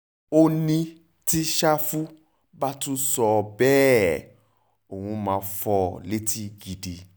ó ní tí sáfù bá tún sọ bẹ́ẹ̀ òun máa fọ́ ọ létí gidi